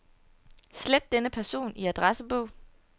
Slet denne person i adressebog.